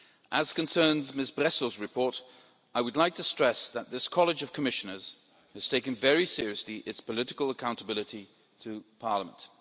As concerns Ms Bresso's report, I would like to stress that this College of Commissioners has taken very seriously its political accountability to Parliament.